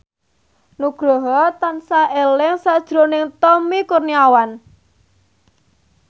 Nugroho tansah eling sakjroning Tommy Kurniawan